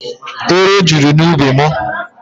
Ero juru n'ubi mụ.